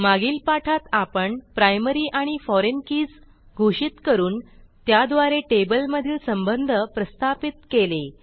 मागील पाठात आपण प्रायमरी आणि फोरिग्न कीज घोषित करून त्याद्वारे टेबल मधील संबंध प्रस्थापित केले